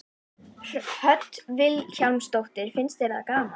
Hödd Vilhjálmsdóttir: Finnst þér það gaman?